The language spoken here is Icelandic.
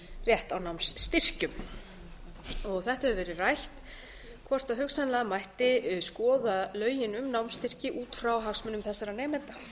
rétt á námsstyrkjum þetta hefur verið rætt hvort hugsanlega mætti skoða lögin um námsstyrki út frá hagsmunum þessara nemenda